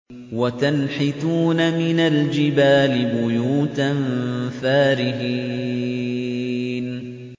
وَتَنْحِتُونَ مِنَ الْجِبَالِ بُيُوتًا فَارِهِينَ